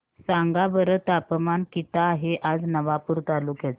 सांगा बरं तापमान किता आहे आज नवापूर तालुक्याचे